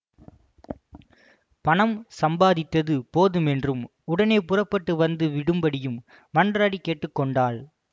பணம் சம்பாதித்தது போதுமென்றும் உடனே புறப்பட்டு வந்து விடும்படியும் மன்றாடிக் கேட்டு கொண்டாள்